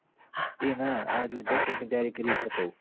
એ ના આર્યું SET ની તૈયારી કરી એટલે કઉં હું